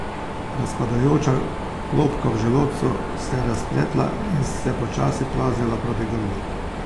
Razpadajoča klobka v želodcu se je razpletla in se počasi plazila proti grlu.